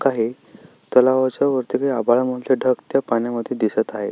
काही तलावाच्या वरती आभाळ मधले ढग त्या पाण्यमध्ये दिसत आहे.